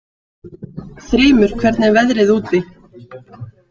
Þrymur, hvernig er veðrið úti?